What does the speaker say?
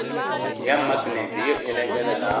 ya maknete ye e lekelelago